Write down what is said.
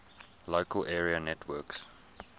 local area networks